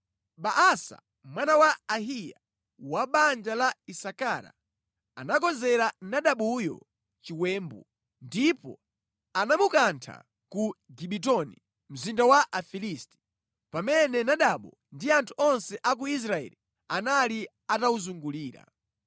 Baasa mwana wa Ahiya, wa banja la Isakara anakonzera Nadabuyo chiwembu, ndipo anamukantha ku Gibetoni, mzinda wa Afilisti, pamene Nadabu ndi anthu onse a ku Israeli anali atawuzungulira.